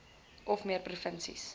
of meer provinsies